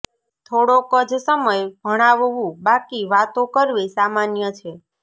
થોડોક જ સમય ભણાવવું બાકી વાતો કરવી સામાન્ય છે